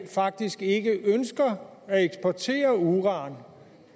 faktisk ikke ønsker at eksportere uran i